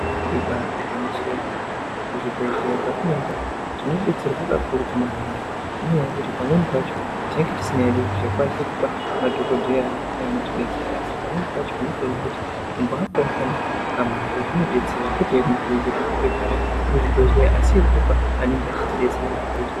Ibari gwinyiso yemene kuzvibhedhleya kwatinoenda uko tinodetserwe kakurutu maningi inyaya yekuti pamweni pacho tenge tisingakwanisi kupa madhokodheya neanotidetsera asi pamweni pacho unotoonawo kuti kumboapawo kana kamare zvinodetsera kwete yekubhadhara muzvibhedhleya asi yekutopa anenge echitidetsera muzvibhedhleya.